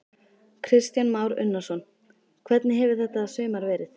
Kristján Már Unnarsson: Hvernig hefur þetta sumar verið?